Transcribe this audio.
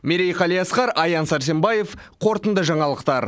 мерей қалиасқар аян сарсембаев қорытынды жаңалықтар